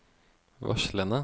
varslene